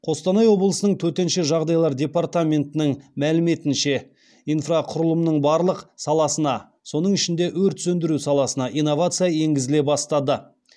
қостанай облысының төтенше жағдайлар департаментіінің мәліметінше инфрақұрылымның барлық саласына соның ішінде өрт сөндіру саласына инновация енгізіле бастады